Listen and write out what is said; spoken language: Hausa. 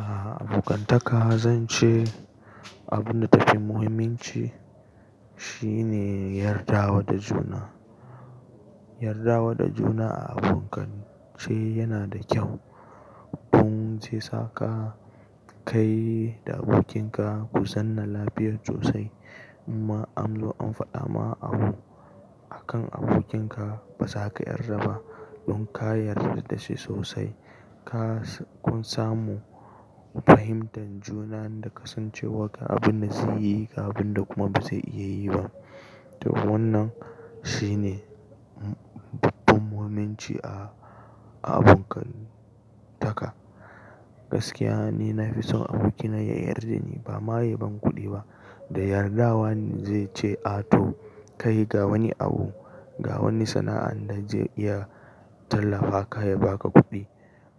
Aaa, abokantaka zan ce abin da ta fi muhimmanci shi ne yarda wa da juna. Yarda wa da juna a abokance yana da kyau. Don zai saka kai da abokinka ku zanna lafiyar sosai. Ma amlo an faɗa ma abu akan abokinka ba za ka yarda ba. Don ka yarda da shi sosai, ka kun samu fahimtar juna, inda ka san cewa abin da zai iya yi da abin da kuma ba zai iya yi ba. To wannan shine babban muhimmanci a abokantaka. Gaskiya ni na fi son abokina ya yarda da ni ba ma ya ban kuɗi ba. Da yardawa ne zai ce, "A to ka yi ga wani abu, ga wani sana'a inda zai iya tallafa ka ya ba ka kuɗi."